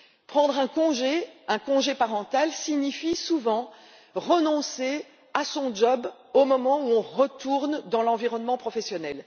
Prendre un congé un congé parental signifie souvent renoncer à son emploi au moment où l'on retourne dans l'environnement professionnel.